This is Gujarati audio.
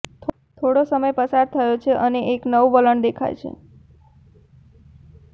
થોડો સમય પસાર થયો છે અને એક નવું વલણ દેખાય છે